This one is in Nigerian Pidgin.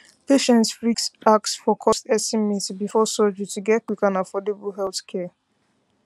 patients fit ask for cost estimate before surgery to get quick and affordable healthcare